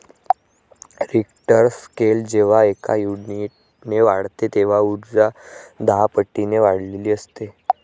Richter scale जेव्हा एका युनिटने वाढते तेव्हा उर्जा दहापटीने वाढलेली असते.